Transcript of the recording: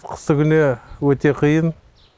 қыстыгүні өте қиын